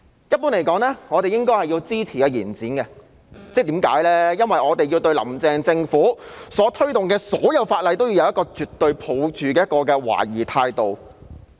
一般而言，我們是應該支持延展的，因為我們要對"林鄭"政府推動的所有法例也抱着絕對懷疑的態度。